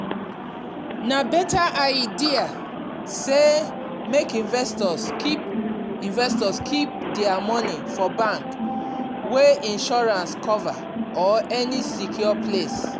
na better idea say make investor keep investor keep dia money for bank wey insurance cover or any secure place.